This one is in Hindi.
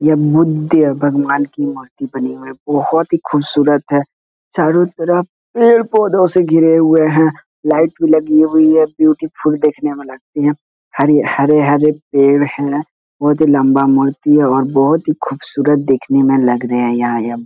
ये बुद्ध भगवान के मूर्ति बने हुए हैं बोहोत ही खूबसूरत है चारों तरफ पेड़-पौधों से घिरी हुई है लाइट भी लगी हुई है ब्यूटीफुल देखने में लगते हैं हरी हरे-हरे पेड़ है बहुत ही लम्बा मूर्ति है और बहुत ही खूबसूरत देखने में लग रहे है यहाँ यह।